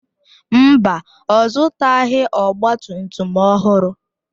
Mba, ọ zụtaghị ọgba tum tum ọhụrụ.